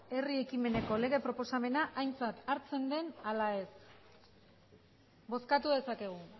herri ekimeneko lege proposamena aintzat hartzen den ala ez bozkatu dezakegu